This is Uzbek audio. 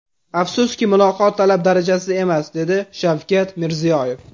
Afsuski, muloqot talab darajasida emas”, dedi Shavkat Mirziyoyev.